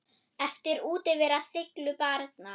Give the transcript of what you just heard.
Eflir útivera seiglu barna?